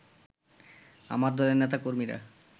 আমার দলের নেতা-কর্মীরা